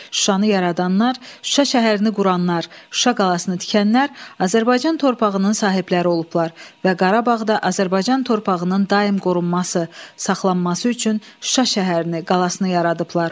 Şuşanı yaradanlar, Şuşa şəhərini quranlar, Şuşa qalasını tikənlər Azərbaycan torpağının sahibləri olublar və Qarabağda Azərbaycan torpağının daim qorunması, saxlanması üçün Şuşa şəhərini, qalasını yaradıblar.